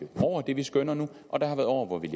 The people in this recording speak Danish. over det vi skønner nu og der har været år hvor vi